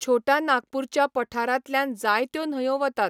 छोटा नागपूरच्या पठारांतल्यान जायत्यो न्हंयो वतात.